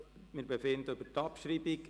Wir befinden nun über dessen Abschreibung.